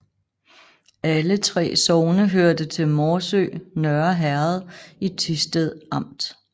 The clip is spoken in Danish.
Alle 3 sogne hørte til Morsø Nørre Herred i Thisted Amt